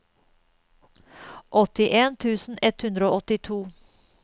åttien tusen ett hundre og åttito